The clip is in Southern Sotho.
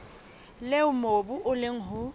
leo mobu o leng ho